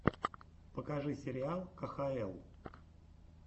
покажи сериал кхл